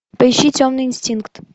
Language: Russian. поищи темный инстинкт